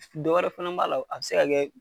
Dɔ wɛrɛ fana b'a la, a bɛ se ka kɛ